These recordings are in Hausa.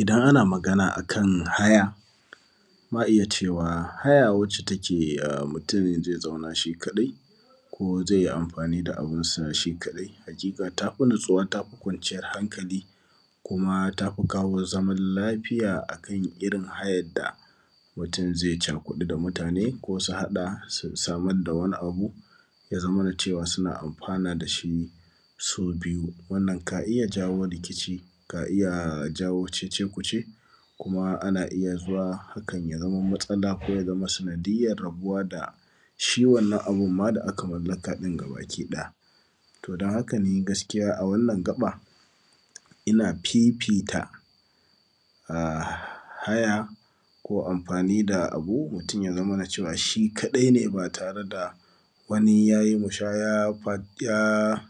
Idan ana magana a kan haya, ma iya cewa, haya wacce take mutun ze zauna shi kaɗai ko ze yi amfani da abunsa ne shi kaɗai, haƙiƙa ta fi natsuwa ta fi kwanciyar hankali. Kuma ta fi kawo zamal lafiya a kan irin hayad da mutun ze cakuɗu da mutane ko su haɗa su samad da wani abu, ya zamana cewa suna amfana da shi su biyu. Wannan ka iya jawo rikici, ka iya jawo cece-kuce kuma ana iya zuwa hakan ya zama matsala ko ya zama sanadiyyar rabuwa da shi wannana abun ma da aka mallaka ɗin gabakiɗaya. To, don haka ni gaskiya a wannan gaƃa, ina fifita a haya ko amfani da abu, mutun ya zamana cewa shi kaɗai ne ba tare da wani ya yi bushaya fat; ya;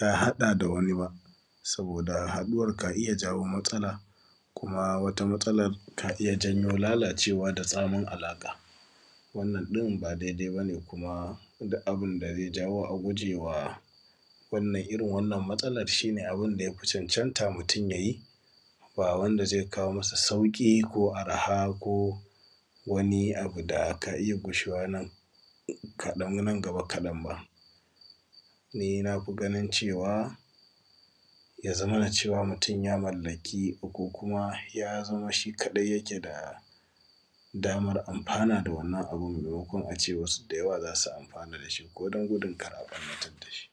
ya haɗa da wani ba, saboda haɗuwar ka iya jawo matsala kuma wata matsalar ka iya jawo lalacewa da tsamin alaƙa. Wannan ɗin, ba dede ba ne kuma dik abin da ze jawo a guje wa; wannan; irin wannan matsalar, shi ne abin da ya fi cancanta mutun ya yi, ba wanda ze kawo musu sauƙi ko arha ko wani abu da ka iya gushewa nan kaɗan; nan gaba kaɗan ba. Ni na fi ganin cewa, ya zamana cewa mutun ya mallaki ko kuma ya zama shi kaɗai yake da damar amfana da wannan abun ba maimakon a ce wasu da yawa za su amfana da shi ko don gudun kar a ƃarnayar da shi.